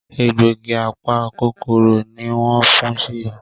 Egbògi apa-kòkòrò ní wón fún Sheyi.